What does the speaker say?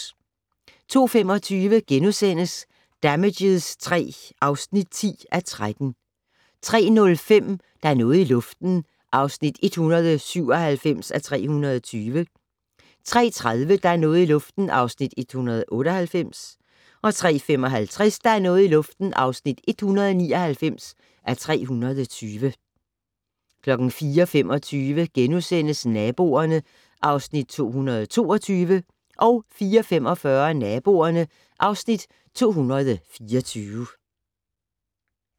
02:25: Damages III (10:13)* 03:05: Der er noget i luften (197:320) 03:30: Der er noget i luften (198:320) 03:55: Der er noget i luften (199:320) 04:25: Naboerne (Afs. 222)* 04:45: Naboerne (Afs. 224)